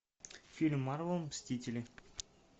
фильм марвел мстители